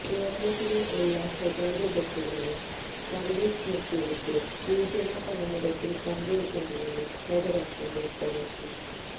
കേരളത്തിലെ എല്ലാ സ്വകാര്യ ബസുകളും സര്വീസ് നിര്ത്തിവെച്ച് സൂചനാ പണിമുടക്കില് പങ്കെടുക്കുമെന്നും ഫെഡറേഷന് വ്യക്തമാക്കി